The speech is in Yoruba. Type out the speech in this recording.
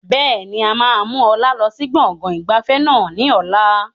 Bẹ́ẹ̀ni, a máa mú ọlá lọ sí gbọ̀ngàn ìgbafẹ́ náà ni ọ̀la.